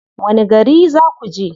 Wani gari za ku je?